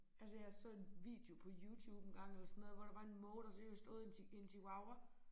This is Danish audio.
Altså jeg så en video på YouTube engang eller sådan noget hvor der var en måge der seriøst åd en en chihuahua